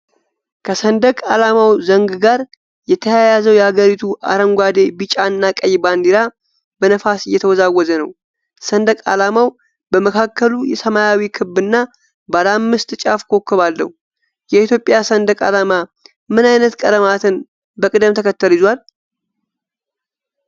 ከሰንደቅ ዓላማው ዘንግ ጋር የተያያዘው የአገሪቱ አረንጓዴ፣ ቢጫ እና ቀይ ባንዲራ በነፋስ እየተወዛወዘ ነው። ሰንደቅ ዓላማው በመካከሉ ሰማያዊ ክብ እና ባለ አምስት ጫፍ ኮከብ አለው። የኢትዮጵያ ሰንደቅ ዓላማ ምን አይነት ቀለማትን በቅደም ተከተል ይዟል?